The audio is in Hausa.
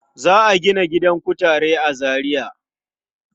Za a gina gidan kutare a Zariya.